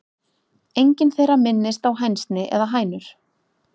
Engin þeirra minnist á hænsni eða hænur.